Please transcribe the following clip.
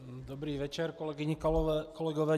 Dobrý večer, kolegyně, kolegové.